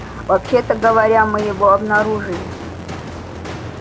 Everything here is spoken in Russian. вообще-то говоря мы его обнаружили